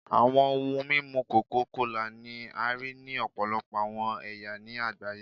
Awọn ohun mimu coca kola ni a rii ni ọpọlọpọ awọn ẹya ni agbaye